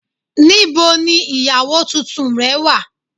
Níbo ni ìyàwó tuntun rẹ̀ wá